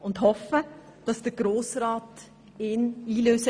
Wir hoffen, der Grosse Rat werde diesen berücksichtigen.